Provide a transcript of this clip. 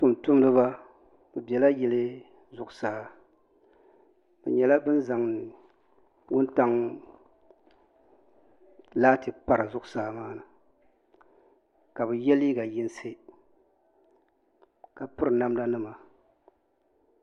Tuuntumdiba bɛ bela yili zuɣusaa bɛ nyɛla ban zaŋ wuntaŋ laati pa di zuɣusaa maa ka bɛ ye liiga yinsi ka piri namdanima.